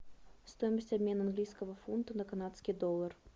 стоимость обмена английского фунта на канадский доллар